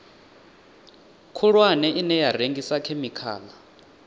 khulwane ine ya rengisa khemikhala